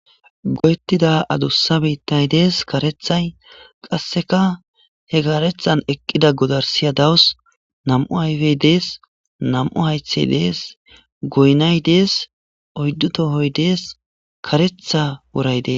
Goyetita adusa bittay dees karethay he karethan eqida godarisya dawus na'mu ayipe de'es na'mu hayithay de'es goyinay dees oyidu tohoy dees karetha woray de'es